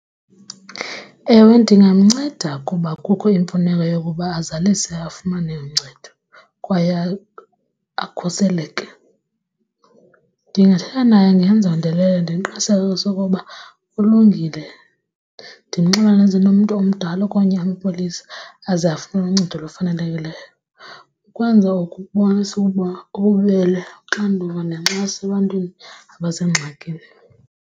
Ewe, ndingamnceda kuba kukho imfuneko yokuba azalise afumane uncedo kwaye akhuseleke. Ndingathetha naye ngezondeleyo ndimqinisekise ukuba ulungile ndimxelele eze nomntu omdala okanye amapolisa aze afune uncedo olufanelekileyo. Ukwenza oku kubonisa ukuba ububele, uxanduva nenkxaso ebantwini abasengxakini.